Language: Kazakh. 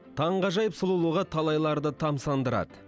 таңғажайып сұлулығы талайларды тамсандырады